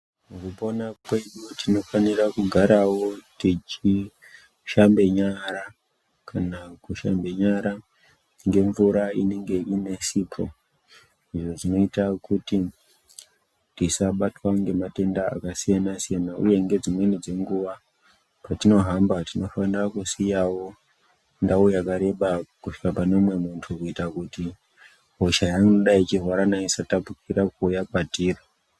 Mukupona kwedu tinofanira kugarawo techishambe nyara kana kushambe nyara ngemvura inenge ine sipo izvo zvinoita kuti tisabatwa ngematenda akasiyana siyana uye ngedzimweni dzenguwa kwetinohamba tinofanire kusiyawo ndau yakareba kusvika pane umwe muntu kuitira kuti hosha yaanenge echirwara nayo isatapukira kuuuya kwatiri.